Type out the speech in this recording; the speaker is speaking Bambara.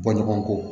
Bɔɲɔgɔnko